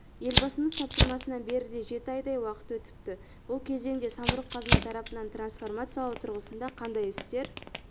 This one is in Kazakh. елбасымыз тапсырмасынан бері де жеті айдай уақыт өтіпті бұл кезеңде самұрық-қазына тарапынан трансформациялау тұрғысында қандай істер